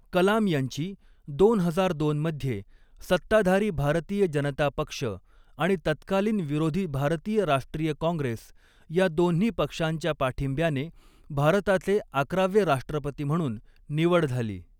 कलाम यांची दोन हजार दोन मध्ये सत्ताधारी भारतीय जनता पक्ष आणि तत्कालीन विरोधी भारतीय राष्ट्रीय काँग्रेस या दोन्ही पक्षांच्या पाठिंब्याने भारताचे अकरावे राष्ट्रपती म्हणून निवड झाली.